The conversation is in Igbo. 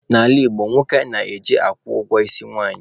N'ala Igbo, nwoke na-eje akwụ ụgwọ isi nwanyị.